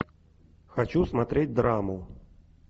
хочу смотреть драму